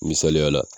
Misaliyala